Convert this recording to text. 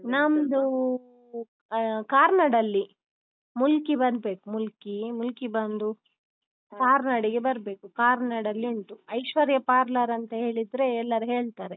ನಮ್ದು ಆ ಕಾರ್ನಾಡ್ ಅಲ್ಲಿ ಮುಲ್ಕಿ ಬರ್ಬೇಕ್ ಮುಲ್ಕಿ ಮುಲ್ಕಿ ಬಂದು ಕಾರ್ನಾಡಿಗೆ ಬರ್ಬೇಕು ಕಾರ್ನಾಡಲ್ಲಿ ಉಂಟು. ಐಶ್ವರ್ಯ parlour ಅಂತ ಹೇಳಿದ್ರೆ ಎಲ್ಲಾರು ಹೇಳ್ತಾರೆ.